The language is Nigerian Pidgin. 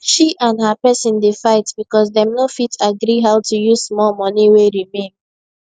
she and her person dey fight because dem no fit agree how to use small money wey remain